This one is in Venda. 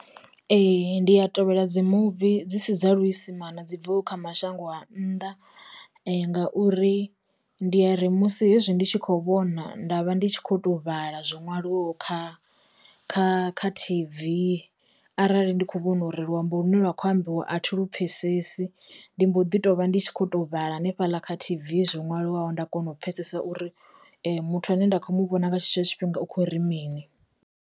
Ee, ndi ya tovhela dzi muvi dzi si dza luisimani dzi bvaho kha ma shango a nnḓa, ngauri ndi yari musi hezwi ndi tshi kho vhona nda vha ndi tshi khoto vhala zwo ṅwaliwaho kha kha kha T_V arali ndi kho u vhono ri luambo lune lwa kho ambiwa a thi lu pfesesi, ndi mboḓi tovha ndi tshi khoto u vhala hanefhala kha T_V zwo ṅwaliwaho nda kona u pfesesa uri muthu ane nda kho muvhona nga tshe tsho tshifhinga u khori mini.